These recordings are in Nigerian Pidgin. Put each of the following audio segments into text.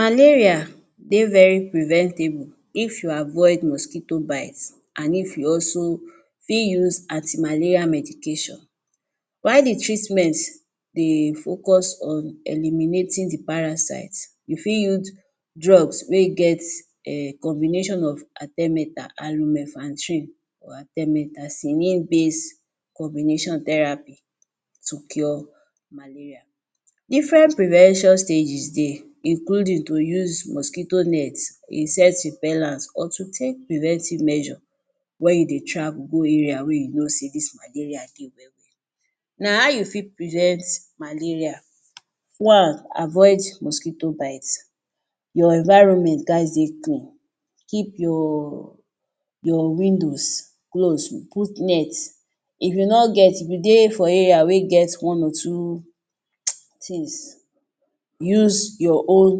Malaria dey very preventable if you avoid mosquito bite and if you also fit use anti malaria medication while the treatment dey focus on eliminating the parasite you fit use drugs wey get um combination of artemether and lemefantrine or artemether cynine base combination therapy to cure malaria. Different prevention stages dey including to use mosquito net, insect repellants or to take preventive measures wey you dey travel go area wey you no sey dis malaria dey well -well. Na how you fit prevent malaria: One: avoid mosquito bite, your environment gas dey clean keep your your windows close, put net if you no get if you dey for area wey get one or two [hiss] tins use your own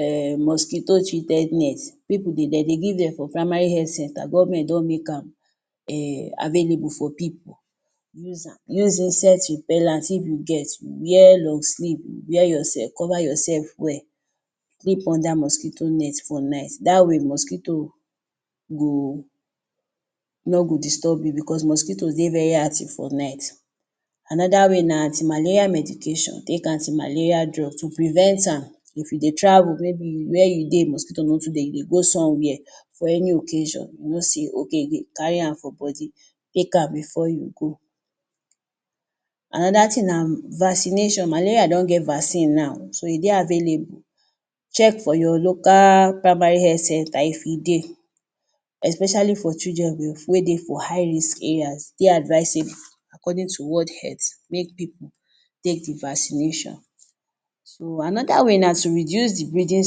um mosquito treated net, pipo de dem dey give dem for primary health centre government don make am um available for pipo, use am use insect repellants if you get, wear long sleeve wear yourself cover your self well. sleep under mosquito net for night dat way mosquito no go no go disturb you because mosquitoes dey very active for night. Anoda way na anti-malaria medication, take anti-malaria drug to prevent am if you dey travel may be where you dey mosquito no too dey, you dey go some where for any occasion you know sey ok you dey kari am for body take am before you go. Anoda tin na vaccination, malaria don get vaccine now ,so e dey available check for your local primary health centre if e dey especially for children wey dey for high risk areas e dey advisable according to world health make pipo take the vaccination. So anoda way na to reduce the breeding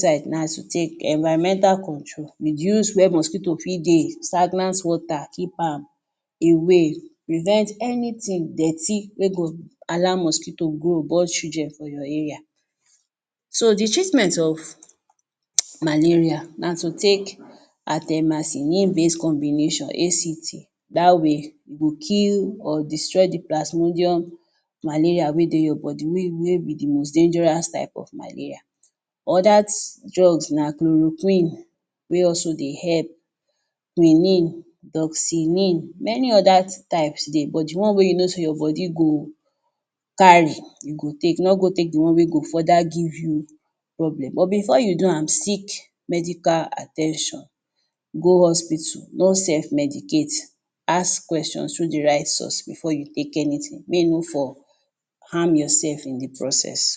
site na to take environmental control reduce where mosquito fit dey, stagnant water keep am away, prevent anytin dirty, wey go allow mosquito grow born children for your area. So the treatment of [hiss] malaria na to take artemacynine base combination ACT da way e go kill or destroy the plasmedium malaria wey dey your body wey be the most dangerous type of malaria. odas drugs na chloroquine wey also dey help, quinine, doxynine many odas type dey but the one wey you no sey your body go kari you go take, no go take the one wey go further give you problem but before you do am, seek medical at ten tion, go hospital no sef medicate, ask question through the right source before you take anytin at all, may you no for harm your sef in the processes.